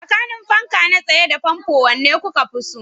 Tsakanin fanka na tsaye da fanfo, wanne kuka fi so?